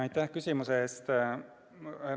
Aitäh küsimuse eest!